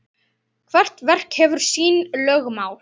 Hvert verk hefur sín lögmál.